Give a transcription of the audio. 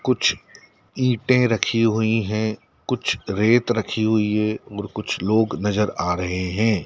कुछ ईंटें रखी हुई है कुछ रेत रखी--